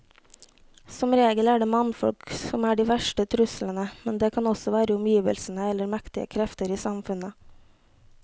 Som regel er det mannfolk som er de verste truslene, men det kan også være omgivelsene eller mektige krefter i samfunnet.